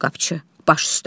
Qapçı: Baş üstə.